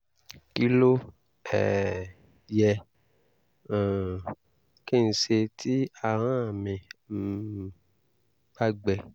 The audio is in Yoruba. kí ló um yẹ um kí n ṣe tí ahọ́n mi um bá gbẹ?